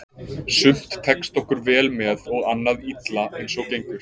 Sumt tekst okkur vel með og annað illa eins og gengur.